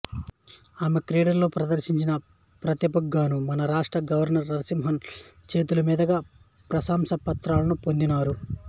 ఈమె క్రీడలలో ప్రదర్శించిన ప్రతిభకుగాను మన రాష్ట్ర గవర్నర్ శ్రీ నరసింహన్ చేతుల మీదుగా ప్రసంసాపత్రాలను పొందినారు